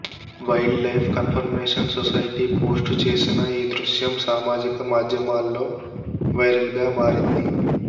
wild life conversation society post చేసిన ఈ దృశ్యం సామాజిక మాధ్యమాల్లో వైరల్గా మారింది